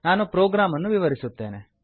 ನಾನು ಪ್ರೋಗ್ರಾಂ ಅನ್ನು ವಿವರಿಸುತ್ತೇನೆ